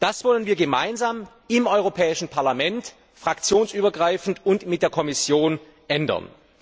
Das wollen wir gemeinsam im Europäischen Parlament fraktionsübergreifend und mit der Kommission ändern.